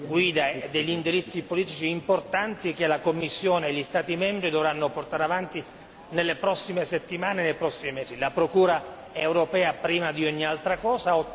guida e degli indirizzi politici importanti, che la Commissione e gli Stati membri dovranno portare avanti nelle prossime settimane e nei prossimi mesi, la procura europea prima di ogni altra cosa.